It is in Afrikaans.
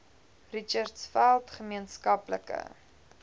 richtersveld gemeen skaplike